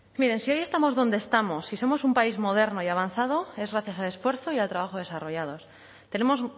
miren si hoy estamos donde estamos si somos un país moderno y avanzado es gracias al esfuerzo y al trabajo desarrollados tenemos